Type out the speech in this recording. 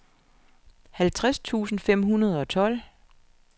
halvtreds tusind fem hundrede og tolv